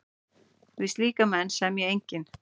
Við slíka menn semji enginn.